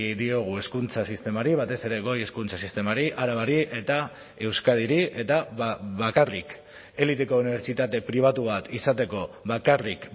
diogu hezkuntza sistemari batez ere goi hezkuntza sistemari arabari eta euskadiri eta bakarrik eliteko unibertsitate pribatu bat izateko bakarrik